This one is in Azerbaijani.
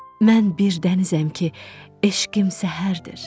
Mən bir dənizəm ki, eşqim səhərdir.